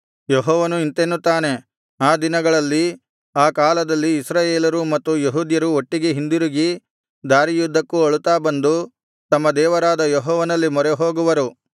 ಯೆಹೋವನು ಇಂತೆನ್ನುತ್ತಾನೆ ಆ ದಿನಗಳಲ್ಲಿ ಆ ಕಾಲದಲ್ಲಿ ಇಸ್ರಾಯೇಲರೂ ಮತ್ತು ಯೆಹೂದ್ಯರೂ ಒಟ್ಟಿಗೆ ಹಿಂದಿರುಗಿ ದಾರಿಯುದ್ದಕ್ಕೂ ಅಳುತ್ತಾ ಬಂದು ತಮ್ಮ ದೇವರಾದ ಯೆಹೋವನಲ್ಲಿ ಮೊರೆಹೋಗುವರು